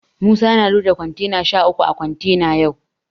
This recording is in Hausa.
Musa ya loda kontena sha uku a kontena yau.